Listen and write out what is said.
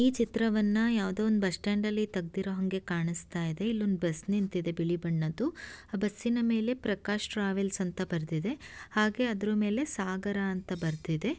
ಈ ಚಿತ್ರವನ್ನ ಯಾವುದೋ ಒಂದು ಬಸ್ ಸ್ಟ್ಯಾಂಡ ಲ್ಲಿ ತೆಗ್ದಿರೋಹಾಂಗೆ ಕಾಣಿಸ್ತಾ ಇದೆ ಇಲ್ಲೊಂದ್ ಬಸ್ ನಿಂತಿದೆ ಬಿಳಿ ಬಣ್ಣದ್ದು ಆ ಬಸ್ಸಿ ನ ಮೇಲೆ ಪ್ರಕಾಶ್ ಟ್ರಾವೆಲ್ಸ್ ಅಂತ ಬರೆದಿದೆ ಹಾಗೆ ಅದರ ಮೇಲೆ ಸಾಗರ ಅಂತ ಬರೆದಿದೆ.